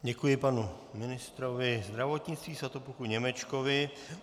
Děkuji panu ministrovi zdravotnictví Svatopluku Němečkovi.